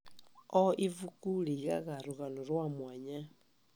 O ivuku rĩigaga rũgano rwa mwanya.